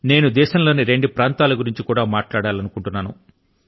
నేను దేశం లోని మరో రెండు ప్రాంతాల ను గురించి కూడా మాట్లాడాలనుకుంటున్నాను